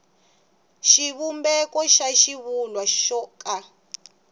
xivumbeko xa xivulwa xo ka